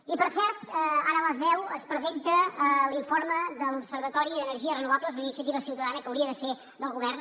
i per cert ara a les deu es presenta l’informe de l’observatori d’energies renovables una iniciativa ciutadana que hauria de ser del govern